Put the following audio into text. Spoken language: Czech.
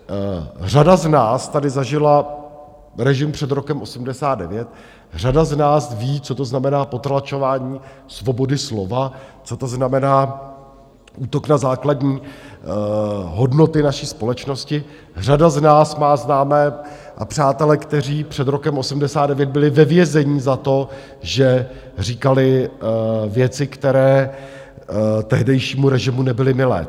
Řada z nás tady zažila režim před rokem 1989, řada z nás ví, co to znamená potlačování svobody slova, co to znamená útok na základní hodnoty naší společnosti, řada z nás má známé a přátele, kteří před rokem 1989 byli ve vězení za to, že říkali věci, které tehdejšímu režimu nebyly milé.